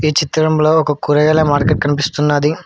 ఈ చిత్రంలో ఒక కూరగాయల మార్కెట్ కనిపిస్తున్నది.